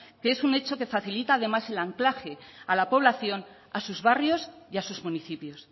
que es un hecho que facilita además el anclaje a la población a sus barrios y a sus municipios